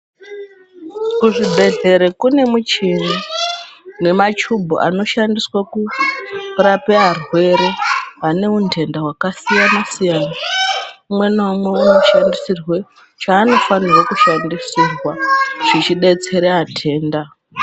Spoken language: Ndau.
Kuzvibhedhlera kune mishini nemachubhu anoshandiswe kurape arwere ane undenda wakasiyana siyana umwe naumwe unoshandisirwe chasnofanire kushandisirwa zvichibetsera atenda.